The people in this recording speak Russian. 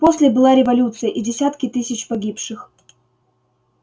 после была революция и десятки тысяч погибших